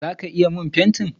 Zaka iya min fenti?